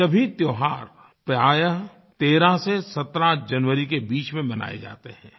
यह सभी त्योहार प्राय 13 से 17 जनवरी के बीच में मनाए जाते हैं